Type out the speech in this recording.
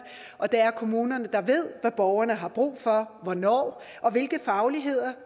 og det er kommunerne der ved hvad borgerne har brug for hvornår og hvilke fagligheder